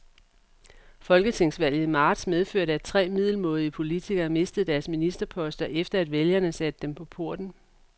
Folketingsvalget i marts medførte, at tre middelmådige politikere mistede deres ministerposter, efter at vælgerne satte dem på porten.